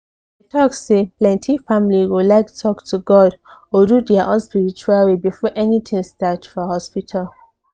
i talk sayplenty family go like talk to god or do their own spiritual way before anything start for hospital.